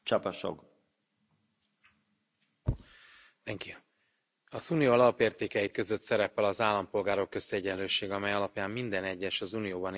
Tisztelt Elnök úr! Az Unió alapértékei között szerepel az állampolgárok közti egyenlőség, amely alapján minden egyes, az Unióban élő embert egyenlő jogok és lehetőségek illetnek meg.